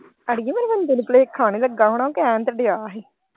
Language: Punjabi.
ਅੜੀਏ ਮੇਰੇ ਬੰਦੇ ਨੂੰ ਭੁਲੇਖਾ ਨਹੀਂ ਲੱਗਾ ਹੋਣਾ ਕਹਿਣ ਤੇ ਦਿਆ ਹੀ।